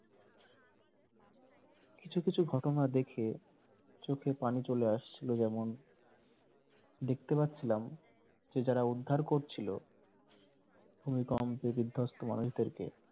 কিছু কিছু ঘটনা দেখে চোখে পানি চলে আসছিলো যেমন দেখতে পাচ্ছিলাম যে যারা উদ্ধার করছিলো ভূমিকম্পে বিদ্ধস্ত মানুষদেরকে